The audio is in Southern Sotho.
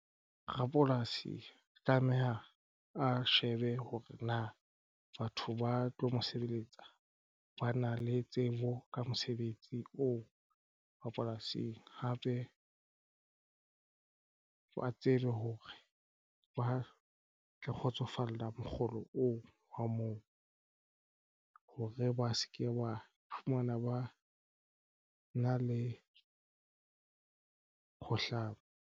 Rapolasi tlameha a shebe hore na batho ba tlo mo sebeletsacba na le tsebo ka mosebetsi oo rapolasing hape wa tseba hore ba tle kgotsofalla mokgolo oo wa moo hore ba se ke ba fumana ba na le ho hlaba.